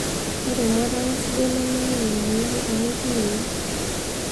ore emuatata sidai nemeyau emoiyian toonchoorei